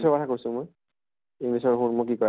কথা কৈছো মই english ৰ শুন কি কৈ